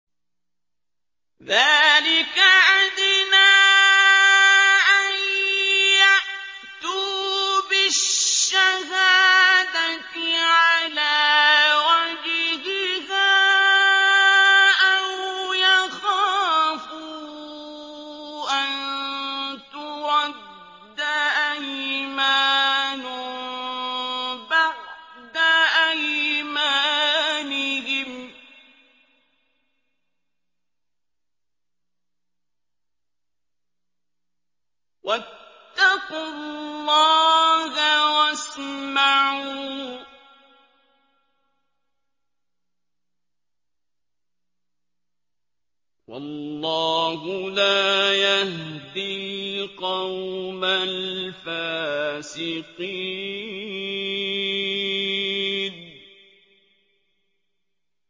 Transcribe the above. ذَٰلِكَ أَدْنَىٰ أَن يَأْتُوا بِالشَّهَادَةِ عَلَىٰ وَجْهِهَا أَوْ يَخَافُوا أَن تُرَدَّ أَيْمَانٌ بَعْدَ أَيْمَانِهِمْ ۗ وَاتَّقُوا اللَّهَ وَاسْمَعُوا ۗ وَاللَّهُ لَا يَهْدِي الْقَوْمَ الْفَاسِقِينَ